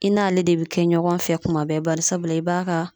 I n'ale de be kɛ ɲɔgɔn fɛ kuma bɛɛ bari sabula i b'a ka